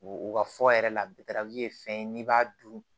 U ka fɔ yɛrɛ la ye fɛn ye n'i b'a dun